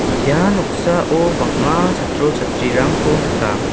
ia noksao bang·a chatri chatrirangko nika.